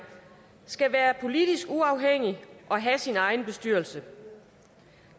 skal være politisk uafhængig og have sin egen bestyrelse